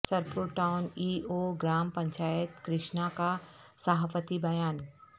Sirpur town E O gram panchayat Krishna کا صحافتی بیان